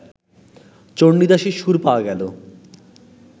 চণ্ডীদাসের সুর পাওয়া গেল